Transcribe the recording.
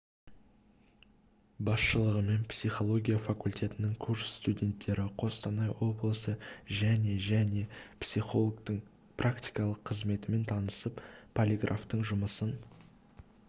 басшылығымен психология факультетінің курс студенттері қостанай облысы және және психологтың практикалық қызметімен танысып полиграфтың жұмысын